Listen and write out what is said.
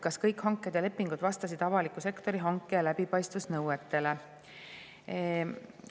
Kas kõik hanked ja lepingud vastasid avaliku sektori hanke- ja läbipaistvusnõuetele?